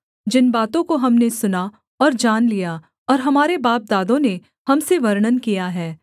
जिन बातों को हमने सुना और जान लिया और हमारे बापदादों ने हम से वर्णन किया है